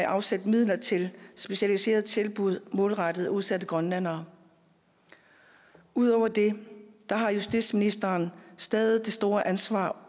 afsat midler til specialiserede tilbud målrettet udsatte grønlændere ud over det har justitsministeren stadig det store ansvar